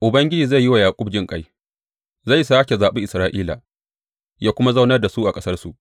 Ubangiji zai yi wa Yaƙub jinƙai; zai sāke zaɓi Isra’ila yă kuma zaunar da su a ƙasarsu.